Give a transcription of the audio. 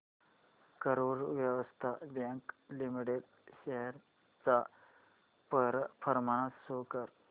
Karur Vysya bank limited shares चा performance show कर